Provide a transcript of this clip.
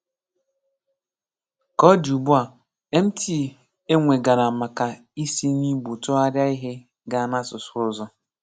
Ka ọ dị ugbua, MT e nwegara maka isi n'Igbo tụgharịa ihe gaa n'asụsụ ọzọ